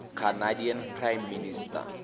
canadian prime minister